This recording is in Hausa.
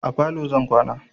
A falo zan kwana.